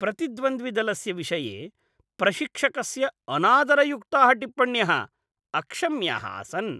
प्रतिद्वन्द्विदलस्य विषये प्रशिक्षकस्य अनादरयुक्ताः टिप्पण्यः अक्षम्याः आसन्।